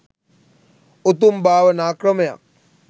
උතුම් භාවනා ක්‍රමයක්.